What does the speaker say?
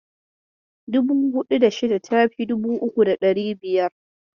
Dubu huɗu da shida ta fi dubu uku da ɗari biyar.